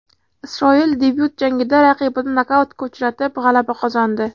Isroil debyut jangida raqibini nokautga uchratib, g‘alaba qozondi.